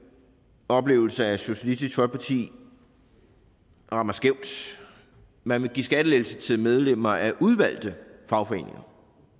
oplevelse at socialistisk folkeparti rammer skævt man vil give skattelettelser til medlemmer af udvalgte fagforeninger